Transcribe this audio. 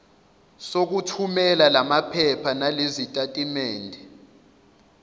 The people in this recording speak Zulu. sokuthumela lamaphepha nalezitatimendi